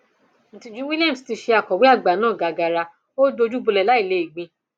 ìtìjú williams tí í ṣe akọwé àgbà náà gàgaàrá ò dojú bolẹ láì lè gbìn